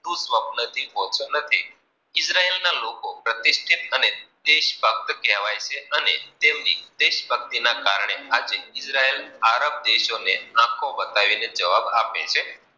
ત્રુસ્પન, થી હોતો નથી, ઈજરાયલના લોકો પ્રતિષ્ઠિત અને દેશ ભક્ત કેવાય છે અને, તેમની દેશ ભક્તી ના કારણે, આ ઈદ્ર્યેલ આરવ દેશો ને આખો બતાવીને જવાબ આપે છે.